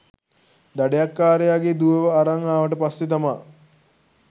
දඩයක්කාරයාගේ දුවව අරන් ආවට පස්සේ තමා